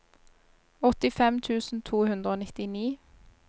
åttifem tusen to hundre og nittini